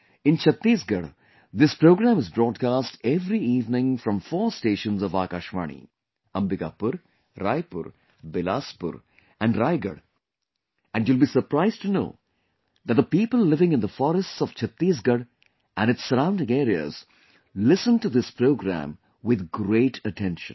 In Chhattisgarh, this program is broadcast every evening from four stations of Akashvani Ambikapur, Raipur, Bilaspur and Raigarh and you will be surprised to know that the people living in the forests of Chhattisgarh and its surrounding areas listen to this program with great attention